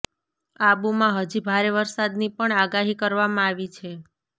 આબુમાં હજી ભારે વરસાદની પણ આગાહી કરવામાં આવી છે